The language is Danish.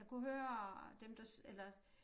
Jeg kunne høre dem der eller